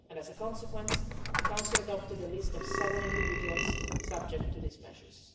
As a consequence, the Council adopted a list of seven individuals subject to these measures.